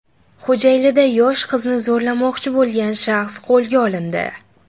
Xo‘jaylida yosh qizni zo‘rlamoqchi bo‘lgan shaxs qo‘lga olindi.